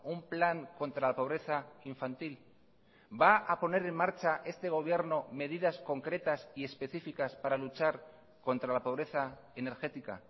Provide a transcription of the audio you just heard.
un plan contra la pobreza infantil va a poner en marcha este gobierno medidas concretas y específicas para luchar contra la pobreza energética